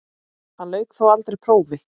Hann lauk þó aldrei prófi.